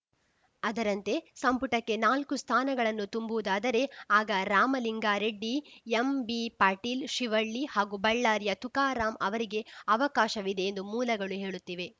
ಅದರಂತೆ ಸಂಪುಟಕ್ಕೆ ನಾಲ್ಕು ಸ್ಥಾನಗಳನ್ನು ತುಂಬುವುದಾದರೆ ಆಗ ರಾಮಲಿಂಗಾರೆಡ್ಡಿ ಎಂಬಿ ಪಾಟೀಲ್‌ಶಿವಳ್ಳಿ ಹಾಗೂ ಬಳ್ಳಾರಿಯ ತುಕಾರಾಂ ಅವರಿಗೆ ಅವಕಾಶವಿದೆ ಎಂದು ಮೂಲಗಳು ಹೇಳುತ್ತಿವೆ